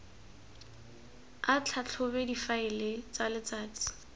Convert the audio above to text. a tlhatlhobe difaele tsa letsatsi